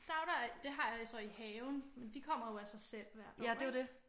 Stauder det har jeg så i haven men de kommer jo af sig selv hvert år ik?